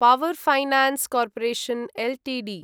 power finance corporation Ltd